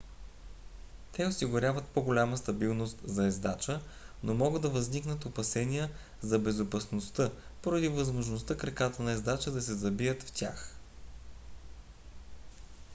те осигуряват по-голяма стабилност за ездача но могат да възникнат опасения за безопасността поради възможността краката на ездача да се забият в тях